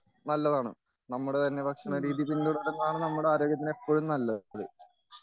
നല്ലതാണ് നമ്മുടെ തന്നെ ഭക്ഷണരീതി പിന്തുടരുന്നതാണ് നമ്മുടെ ആരോഗ്യത്തിനെപ്പോഴും നല്ലത്